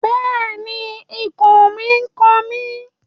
Bẹ́ẹ̀ni, ikùn mi n kan mi